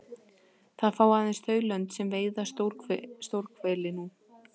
Það fá aðeins þau lönd sem veiða stórhveli nú.